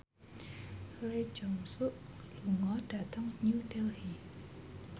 Lee Jeong Suk lunga dhateng New Delhi